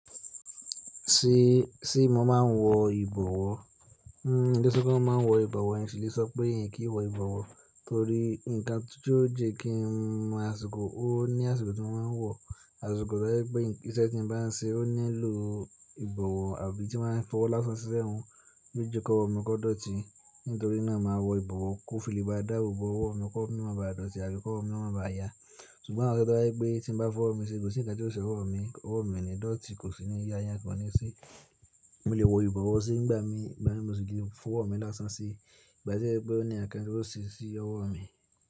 Sí, sìe mo máa ń wọ ìbọ̀wọ́. Hmm, n lèe sọ pé mo máa ń wọ ìbọ̀wọ́, n sì lè sọ pé n kìí wọ ìbọ̀wọ́ torí nǹkan tí ó jẹ́ kí mọ̀ àsìkò ó ní àsìkò tí mo máa ń wọ̀, àsìkò tọ́ jẹ́ pé iṣẹ́ tí mo bá ń ṣe ó nílò ìbọ̀wọ́ àbí ti mo bá fẹ́ fọwọ́ lásán sí ẹ̀nu, yíò jẹ́ kí ọwọ́ mi kó dọ́tí. Nítorí náà màá wọ ìbọ̀wọ́ kó fi lè bá dáàbò bò owó mi, kọ́ ọwọ́ mímọ́ bá dọ́tí àbí kọ́ ọwọ́ mi máa bá ya. Ṣùgbọ́n àárọ̀ tí ó bá jẹ́ pé tí mo bá fọ́ ọwọ́ mi ṣe kò sí nǹkan tí ó ṣe ọwọ́ mi, ọwọ́ mi kò ní dọ́tí kò sí ni yà ǹkankan o ní ṣé. Mo lè wọ ìbọ̀wọ̀ sí nígbà mí, ìgbà mí mo sì lè fọ́ ọwọ́ mi lásán ṣe. Ìgbà tí kèésè pé ó ní ǹkán tí ó ṣe sí ọwọ́ mi.